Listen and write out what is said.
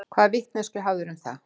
Hvaða vitneskju hafðirðu um það?